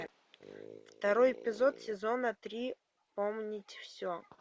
второй эпизод сезона три помнить все